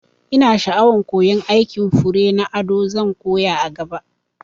Ina sha'awan koyan aikin fure na ado, zan koya a gaba